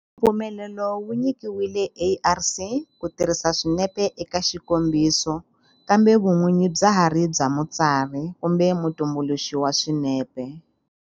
Mpfumelelo wu nyikiwile ARC ku tirhisa swinepe eka xikombiso kambe vun'winyi bya ha ri bya mutsari kumbe mutumbuluxi wa swinepe.